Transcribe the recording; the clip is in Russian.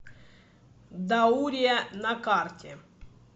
даурия на карте